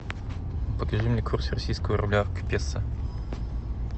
покажи мне курс российского рубля к песо